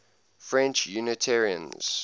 french unitarians